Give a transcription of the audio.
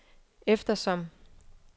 eftersom